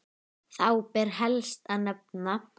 Þá ber helst að nefna